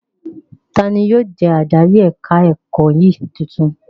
Tani yóò jẹ́ adarí ẹ̀ka-ẹ̀kọ́ yín tuntun?